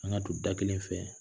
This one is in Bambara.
An ka don da kelen fɛ